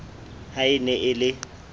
ha e ne e le